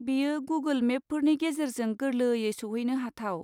बेयो गुगोल मेपफोरनि गेजेरजों गोरलैयै सौहैनो हाथाव।